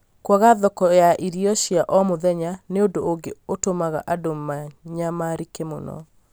kwaga thoko ya irio cia o mũthenya nĩ ũndũ ũngĩ ũtũmaga andũ manyamarĩke mũno.